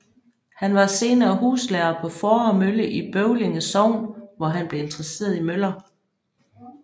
Han var senere huslærer på Fåre Mølle i Bøvling Sogn hvor han blev interesseret i møller